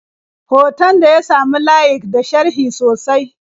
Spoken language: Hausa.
Hoton ta ya sami layik da sharhi sosai.